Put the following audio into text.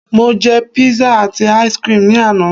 mo je pizza ati ice cream ni ana